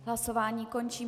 Hlasování končím.